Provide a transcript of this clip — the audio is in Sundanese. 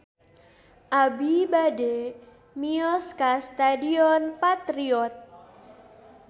Abi bade mios ka Stadion Patriot